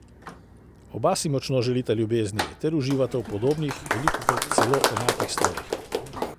Oba si močno želita ljubezni ter uživata v podobnih, velikokrat celo enakih stvareh.